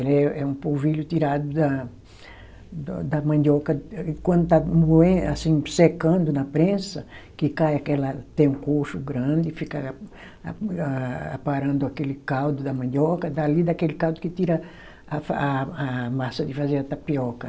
Ela é, é um polvilho tirado da, do da mandioca, e quando está moen, assim secando na prensa, que cai aquela, tem um coxo grande, fica a a aparando aquele caldo da mandioca, dali daquele caldo que tira a fa, a a massa de fazer a tapioca.